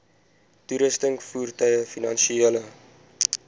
toerusting voertuie finansiële